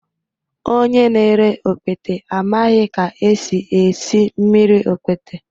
Onye na-ere okpete amaghị ka esi esi mmiri okpete